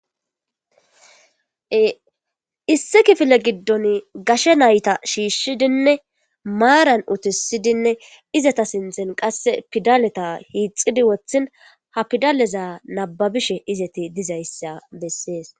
Issi kifile giddon gashe nayta shiishshidinne maaran uttisidinne izeta sinthen qasse pidaleta hiixidi wothin ha pidaleza nabbabishe izeti dizayssa besses.